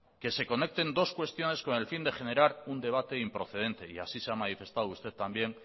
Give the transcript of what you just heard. que se conecten dos cuestiones con el fin de generar un debate improcedente y así se ha manifestado usted también